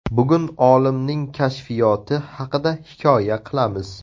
Bugun olimning kashfiyoti haqida hikoya qilamiz.